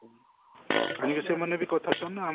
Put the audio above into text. ଖାଲି ବି ସେମାନେ ବି